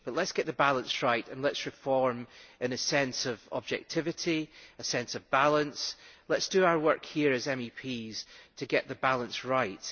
But let us get the balance right and let us reform with a sense of objectivity, a sense of balance, let us do our work here as MEPs to get the balance right.